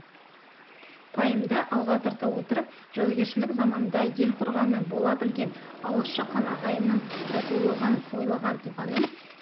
пайымды алға тарта отырып жаугершілік заманда ел қорғаны бола білген алыс-жақын ағайынның татулығын ойлаған тұлғаның